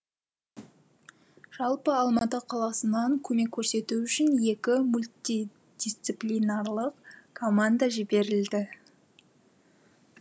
жалпы алматы қаласынан көмек көрсету үшін екі мультидисциплинарлық команда жіберілді